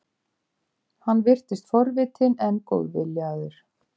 Hann virtist forvitinn, en góðviljaður.